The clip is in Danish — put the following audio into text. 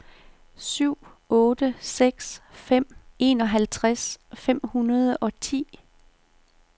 syv otte seks fem enoghalvtreds fem hundrede og ti